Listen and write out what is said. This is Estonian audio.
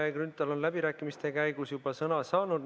Kalle Grünthal on läbirääkimiste käigus juba sõna saanud.